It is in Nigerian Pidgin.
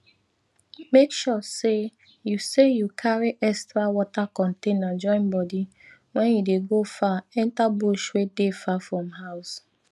make sure say you say you carry extra water container join body wen you dey go far enter bush wey dey far from house